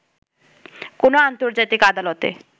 কোন আন্তর্জাতিক আদালতে